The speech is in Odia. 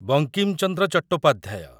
ବଙ୍କିମ ଚନ୍ଦ୍ର ଚଟ୍ଟୋପାଧ୍ୟାୟ